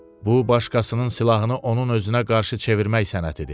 Bu başqasının silahını onun özünə qarşı çevirmək sənətidir.